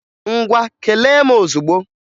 Ngwa kelee m ọzugbo!